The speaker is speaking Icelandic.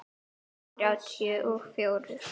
Núll þrjátíu og fjórir?